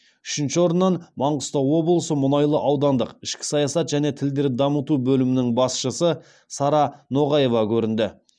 үшінші орыннан маңғыстау облысы мұнайлы аудандық ішкі саясат және тілдерді дамыту бөлімінің басшысы сара ноғаева көрінді